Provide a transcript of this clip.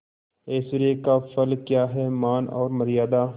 ऐश्वर्य का फल क्या हैमान और मर्यादा